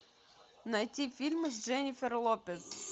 найти фильмы с дженнифер лопес